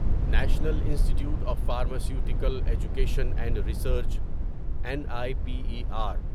national institute of pharmaceutical education and research N I P E are